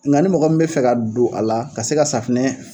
Nga ni mɔgɔ min bɛ fɛ ka don a la ka se ka safinɛ